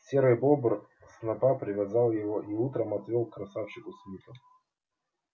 серый бобр снопа привязал его и утром отвёл к красавчику смиту